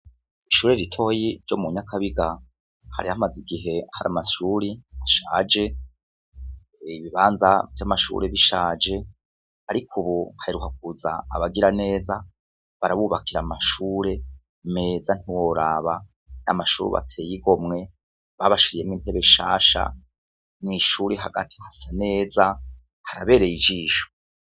Ishure ritoyi ryo mu Nyakabiga, hari hamaze igihe hari amashure ashaje, ibibanza vy'amashure bishaje ariko ubu haheruka kuza abagiraneza barabubakira amashure meza ntiworaba, ni amashure ateye igomwe babashiriyemo intebe nshasha, mu ishure hagati hasa neza harabereye ijisho.